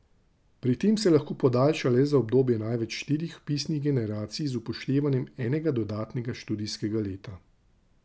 Pri tem se lahko podaljša le za obdobje največ štirih vpisnih generacij z upoštevanjem enega dodatnega študijskega leta.